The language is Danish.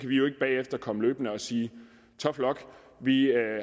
vi jo ikke bagefter komme løbende og sige tough luck vi